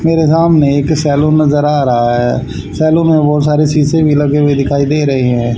मेरे सामने एक सैलून नजर आ रहा है सैलून में बहोत सारे शीशे भी लगे हुए दिखाई दे रहे हैं।